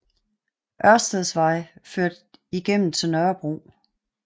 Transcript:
Ørsteds Vej ført igennem til Nørrebro